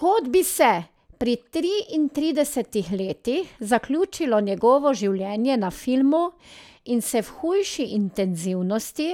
Kot bi se pri triintridesetih letih zaključilo njegovo življenje na filmu in se v hujši intenzivnosti,